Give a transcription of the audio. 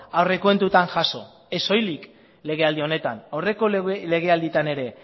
aurrekontuetan jaso ez soilik legealdi honetan aurreko legealdietan ere